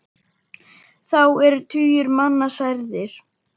Þá eru tugir manna særðir.